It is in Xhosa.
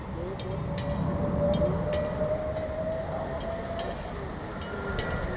sun goddess afika